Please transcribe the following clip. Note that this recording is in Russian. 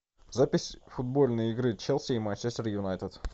запись футбольной игры челси и манчестер юнайтед